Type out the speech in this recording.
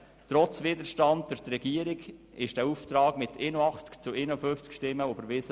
Trotz Widerstand der Regierung wurde der Auftrag mit 81 gegen 51 Stimmen überwiesen.